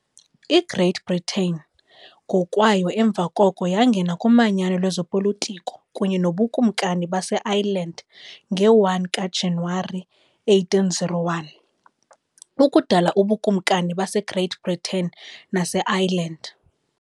IGreat Britain ngokwayo emva koko yangena kumanyano lwezopolitiko kunye noBukumkani baseIreland nge-1 kaJanuwari 1801, ukudala uBukumkani baseGreat Britain naseIreland.